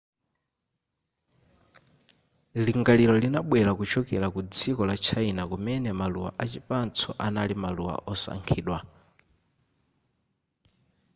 lingaliro linabwera kuchokera ku dziko la china kumene maluwa achipatso anali maluwa osankhidwa